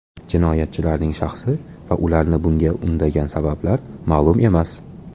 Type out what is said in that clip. Jinoyatchilarning shaxsi va ularni bunga undagan sabablar ma’lum emas.